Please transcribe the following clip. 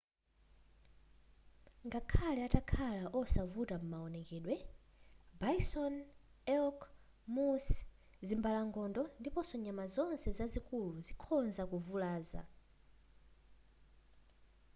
ngakhale atakhala osavuta m'mawonekedwe bison elk moose zimbalangondo ndiponso nyama zonse zazikulu zikhoza kuvulaza